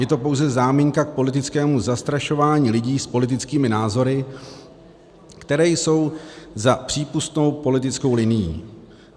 Je to pouze záminka k politickému zastrašování lidí s politickými názory, které jsou za přípustnou politickou linií.